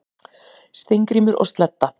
Steingrímur og Sledda,